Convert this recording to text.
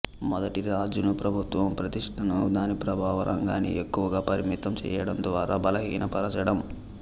మొదటిది రాజును ప్రభుత్వ ప్రతిష్టను దాని ప్రభావ రంగాన్ని ఎక్కువగా పరిమితం చేయడం ద్వారా బలహీనపరచడం